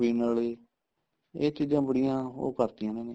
ਪੀਣ ਆਲੇ ਇਹ ਚੀਜ਼ਾਂ ਬੜੀਆਂ ਉਹ ਕਰਤੀਆਂ ਨਾ ਇਹਨੇ